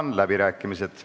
Avan läbirääkimised.